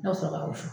Ne ka sɔrɔ ka wusu